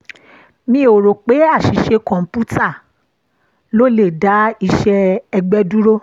mi ò ro pé aṣìṣe kọ̀ǹpútà ló le dá iṣẹ́ ẹgbẹ́ dúró